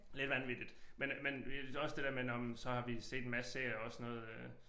Lidt vanvittigt men men også det der med nåh men så har vi set en masse serier også sådan noget øh